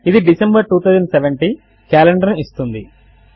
ఇది December 2070 calendar ను ఇస్తుంది